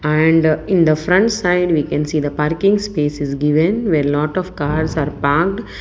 and in the front side we can see the parking space is given where lot of cars are parked.